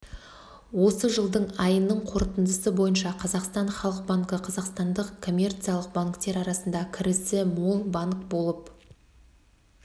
осы жылдың айының қорытындысы бойынша қазақстан халық банкі қазақстандық коммерциялық банктер арасында кірісі мол банк болып